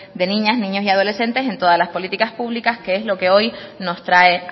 de niñas niños y adolescentes en todas las políticas públicas que es lo que hoy nos trae